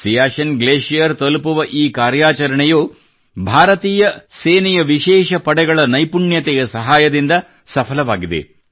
Siachen glacier ತಲುಪುವ ಈ ಕಾರ್ಯಾಚರಣೆಯು ಭಾರತೀಯ ಸೇನೆಯ ವಿಶೇಷ ಪಡೆಗಳ ನೈಪುಣ್ಯತೆಯ ಸಹಾಯದಿಂದ ಸಫಲವಾಗಿದೆ